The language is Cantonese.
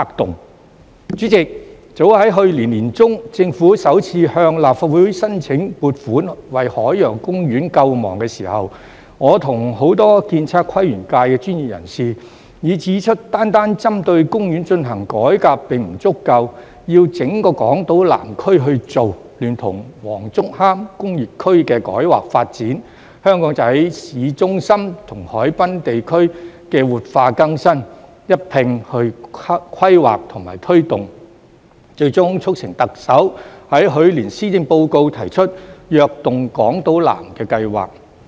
代理主席，早於去年年中，政府首次向立法會申請撥款為海洋公園救亡時，我和很多建測規園界的專業人士已指出單單針對公園進行改革並不足夠，要整個港島南區去做，聯同黃竹坑工業區的改劃發展、香港仔巿中心和海濱地區的活化更新一併規劃和推動，最終促成特首在去年施政報告提出"躍動港島南"計劃。